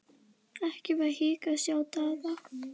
Ekki var hik að sjá á Daða.